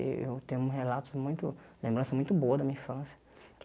Eh eu tenho relatos muito, lembrança muito boa da minha infância.